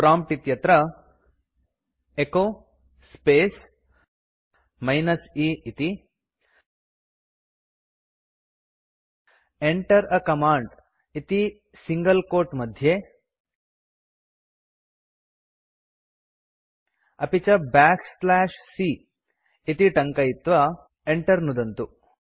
prompt इत्यत्र echo space minus e इति Enter a command इति सिंगल quote मध्ये अपि च बैक स्लैश c इति टङ्कयित्वा enter नुदन्तु